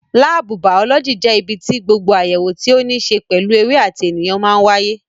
Láábù bàọ́lọ́jì jẹ́ ibi tí gbogbo àyẹ̀wò tí ó ní ṣe pẹ̀lú ewé àti ènìyàn máa ń wáyé